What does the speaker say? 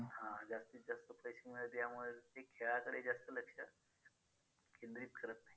हां जास्तीजास्त पैसे मिळावेत यामुळे ते खेळाकडे जास्त लक्ष केंद्रित करत नाहीत.